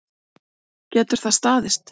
Getur það staðist?